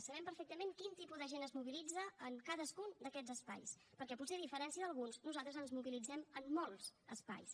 sabem perfectament quin tipus de gent es mobilitza en cadascun d’aquests espais perquè potser a diferència d’alguns nosaltres ens mobilitzem en molts espais